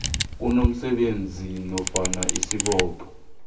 unomsebenzi nofana isibopho